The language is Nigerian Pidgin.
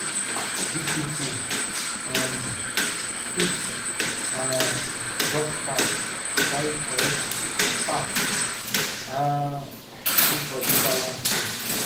big people um fit um drop carbs carry correct fat um make body balance well.